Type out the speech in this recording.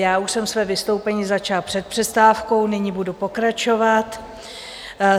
Já už jsem své vystoupení začala před přestávkou, nyní budu pokračovat.